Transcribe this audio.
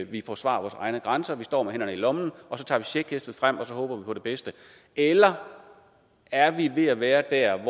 vi forsvarer vores egne grænser vi står med hænderne i lommen og så tager vi checkhæftet frem og så håber vi på det bedste eller er vi ved at være der